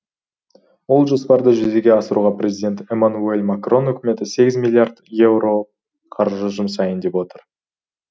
ол жоспарды жүзеге асыруға президент эммануюэль макрон үкіметі сегіз миллиард еуро қаржы жұмсайын деп отыр